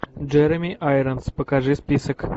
джереми айронс покажи список